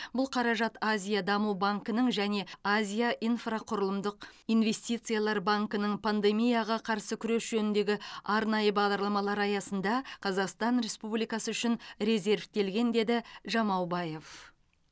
бұл қаражат азия даму банкінің және азия инфрақұрылымдық инвестициялар банкінің пандемияға қарсы күрес жөніндегі арнайы бағдарламалары аясында қазақстан республикасы үшін резервтелген деді жамаубаев